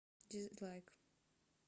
дизлайк